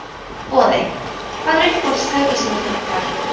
Boði: Hvað er uppáhalds tækið sem þú ert búinn að fara í?